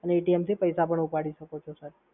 અને થી પૈસા પણ ઉપાડી શકો છો સર.